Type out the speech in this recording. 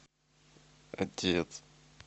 отец